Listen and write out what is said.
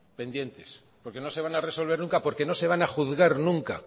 pendientes porque no se van a resolver nunca porque no se van a juzgar nunca